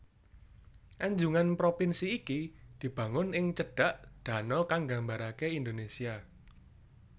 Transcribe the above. Anjungan propinsi iki dibangun ing cedhak dano kang nggambarake Indonesia